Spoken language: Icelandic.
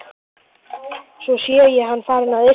Svo sé hann farinn að yrkja.